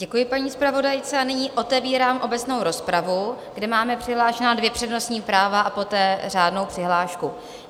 Děkuji paní zpravodajce a nyní otevírám obecnou rozpravu, kde máme přihlášena dvě přednostní práva a poté řádnou přihlášku.